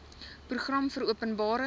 program vir openbare